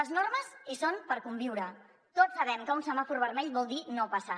les normes hi són per conviure tots sabem que un semàfor vermell vol dir no passar